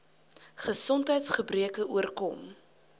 gesondheids gebreke oorkom